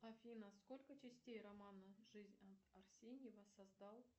афина сколько частей романа жизнь арсеньева создал